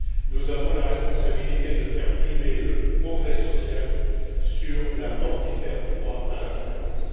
Nous avons la responsabilité de faire primer le progrès social sur le mortifère droit à la concurrence.